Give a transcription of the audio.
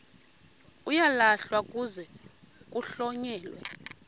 uyalahlwa kuze kuhlonyelwe